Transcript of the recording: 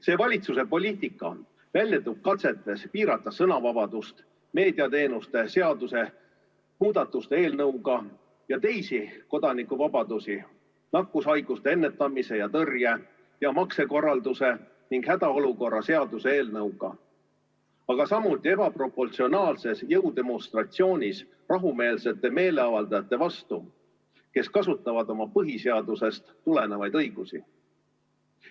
See valitsuse poliitika väljendub katsetes piirata sõnavabadust meediateenuste seaduse muutmise eelnõuga ja teisi kodanikuvabadusi nakkushaiguste ennetamise ja tõrje ja maksekorralduse ning hädaolukorra seaduse eelnõuga, aga samuti ebaproportsionaalses jõudemonstratsioonis rahumeelsete meeleavaldajate vastu, kes kasutavad oma põhiseadusest tulenevaid õigusi.